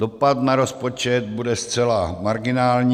Dopad na rozpočet bude zcela marginální.